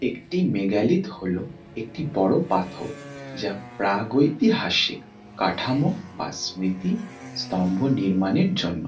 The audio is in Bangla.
একটি মেগালিথ হলো একটি বড়ো পাথর। যা প্রাগৈতিহাসিক কাঠামো বা স্মৃতি স্তম্ভ নির্মাণের জন্য।